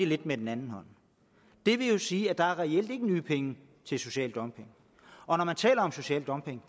lidt med den anden hånd det vil sige at der reelt ikke er nye penge til social dumping og når man taler om social dumping